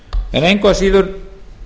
engu að síður